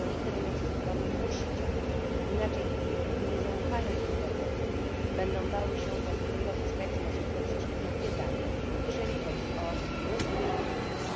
Jednolity rynek cyfrowy musi działać, w przeciwnym razie firmy nie zaufają internetowi, będą bały się korzystać z możliwości, jakie daje to narzędzie, jeżeli chodzi o rozwijanie firm.